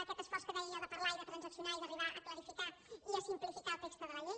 aquest esforç que deia jo de parlar i de transaccionar i d’arribar a clarificar i a simplificar el text de la llei